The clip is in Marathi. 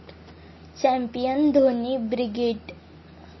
Champion Dhoni brigade!